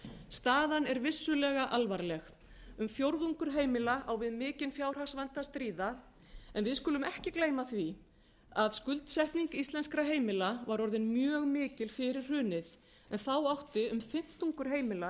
staðan er vissulega alvarleg um fjórðungur heimila á við mikinn fjárhagsvanda að stríða en við skulum ekki gleyma því að skuldsetning íslenskra heimila var orðin mjög mikil fyrir hrunið en þá átti um fimmtungur í